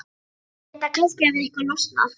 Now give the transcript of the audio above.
Ég hélt að kannski hefði eitthvað losnað.